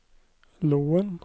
Loen